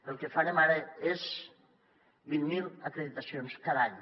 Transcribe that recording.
el que farem ara són vint mil acreditacions cada any